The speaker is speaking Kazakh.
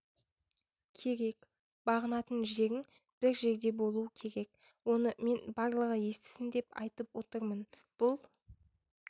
керек бағынатын жерің бір жерде болу керек оны мен барлығы естісін деп айтып отырмын бұл